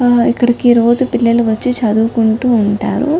ఆ ఇక్కడకి రోజు పిల్లలు వచ్చి చదువుకుంటూ ఉంటారు .